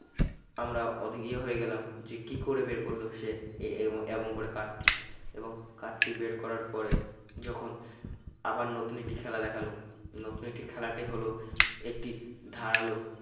আমরা অধী ইয়ে হয়ে গেলাম যে কি করে বের করল সে এ~ এবং এমন করে card টি এবং card টি বের করার পরে যখন আবার নতুন একটি খেলা দেখালো নতুন একটি খেলাতে হলো একটি ধারালো